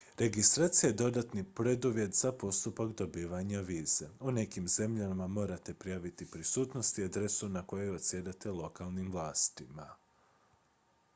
registracija je dodatni preduvjet za postupak dobivanja vize u nekim zemljama morate prijaviti prisutnost i adresu na kojoj odsjedate lokalnim vlastima